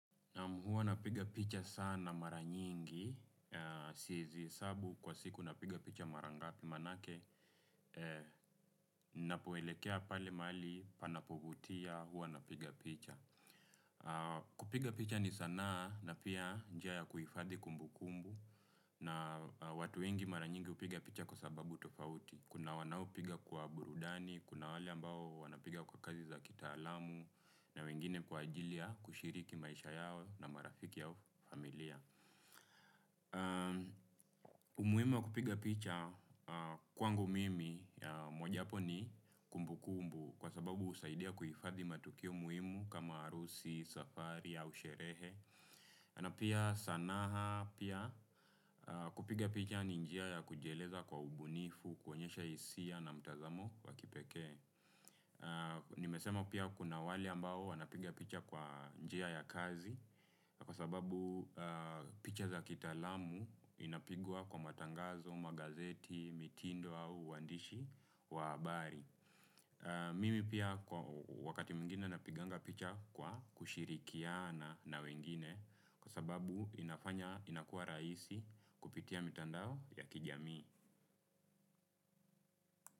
Huwa napiga picha sana mara nyingi. Siezi hesabu kwa siku napiga picha mara ngapi manake. Napoelekea mahali pale panavitia huwa napiga picha. Kupiga picha ni sanaa na pia njia ya kuifadhi kumbukumbu na watu wengi mara nyingi hupiga picha kwa sababu tofauti. Kuna wanaopiga kwa burudani, kuna wale ambao wanapiga kwa kazi za kitaalamu. Na wengine kwa ajili ya kushiriki maisha yao na marafiki yao familia. Umuhimu wa kupiga picha kwangu mimi ya mojawapo ni kumbukumbu. Kwa sababu husaidia kuhifadhi matukio muhimu kama harusi, safari au sherehe na pia sanaa pia kupiga picha ni njia ya kujieleza kwa ubunifu, kuonyesha hisia na mtazamo wa kipekee. Nimesema pia kuna wale ambao anapiga picha kwa njia ya kazi kwa sababu picha za kitaalam inapigwa kwa matangazo magazeti vitindo au uandishi wa habari. Mimi pia wakati mwingine napiganga picha kwa kushirikiana na wengine. Kwa sababu inakua raisi kupitia mitandao ya kijamii.